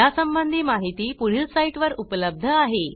या संबंधी माहिती पुढील साईटवर उपलब्ध आहे